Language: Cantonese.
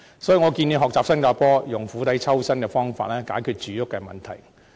所以，我建議學習新加坡，以釜底抽薪的方法解決住屋問題。